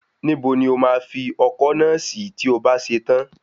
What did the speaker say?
Níbo ni o máa fi ọkọ́ náà sí tí o bá ṣe tán?